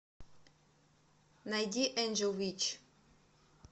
найди энджел витч